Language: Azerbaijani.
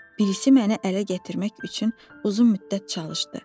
Birisi məni ələ gətirmək üçün uzun müddət çalışdı.